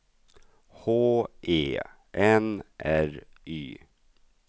H E N R Y